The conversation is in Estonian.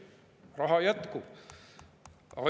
Raha jätkub!